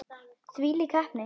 Þvílík heppni.